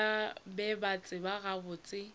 ba be ba tseba gabotse